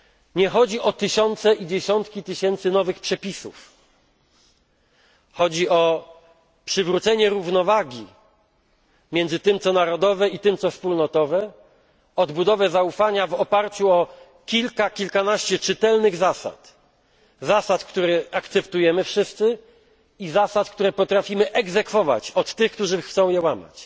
Nie chodzi o tysiące i dziesiątki tysięcy nowych przepisów, chodzi o przywrócenie równowagi między tym, co narodowe, i tym, co wspólnotowe, o odbudowę zaufania w oparciu o kilka, kilkanaście czytelnych zasad zasad, które akceptujemy wszyscy, i zasad, które potrafimy egzekwować od tych, którzy chcą je łamać.